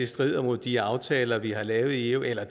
strider mod de aftaler vi har lavet i eu eller